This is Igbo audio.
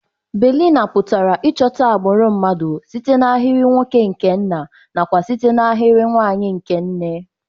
Baịlịna pụtara Ịchọta agbụrụ mmadụ site n'ahịrị nwoke nke nna na kwa site na ahịrị nwanyị nke nne.